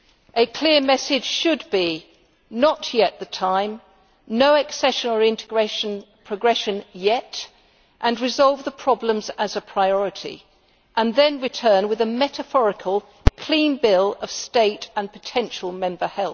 A clear message should be not yet the time, no accession or integration progression yet, resolve the problems as a priority, and then return with a metaphorical clean bill of health as a state and potential member.